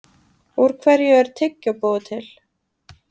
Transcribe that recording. Úr hverju er tyggjó búið til?